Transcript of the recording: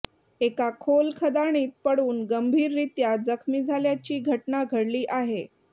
एका खोल खदाणीत पडून गंभीररीत्या जखमी झाल्याची घटना घडली आहे